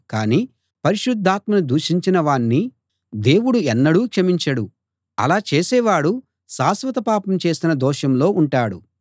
కాని పరిశుద్ధాత్మను దూషించినవాణ్ణి దేవుడు ఎన్నడూ క్షమించడు అలా చేసేవాడు శాశ్వత పాపం చేసిన దోషంలో ఉంటాడు